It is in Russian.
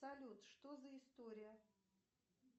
салют что за история